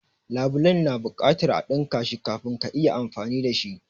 labulen ya na buƙatan a dinka shi kafin ka iya amfani dashi.